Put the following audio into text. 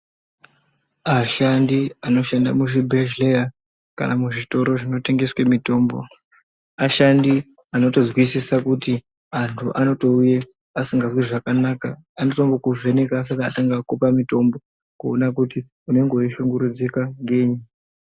Ashandi anoshanda muzvibhedhleya kana muzvitoro zvinotengeswe mitombo, ashandi anotozwisisa kuti antu anotouye asingazwi zvakanaka anotongo kuvheneka asati akupa mitombo kuona kuti unenge weishungurudzika ngenyi.